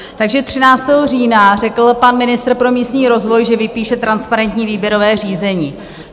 Takže 13. října řekl pan ministr pro místní rozvoj, že vypíše transparentní výběrové řízení.